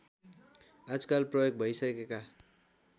आजकाल प्रयोग भइसकेका